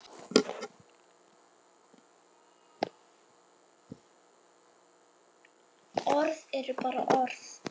Orð eru bara orð.